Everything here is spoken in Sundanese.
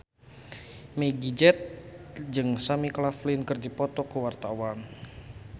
Meggie Z jeung Sam Claflin keur dipoto ku wartawan